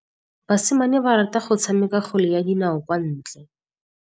Basimane ba rata go tshameka kgwele ya dinaô kwa ntle.